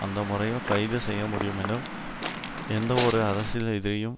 அந்த முறையில் கைது செய்யமுடியுமெனில் எந்தவொரு அரசியல் எதிரியும்